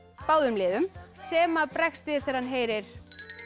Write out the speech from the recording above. báðum liðum sem bregst við þegar hann heyrir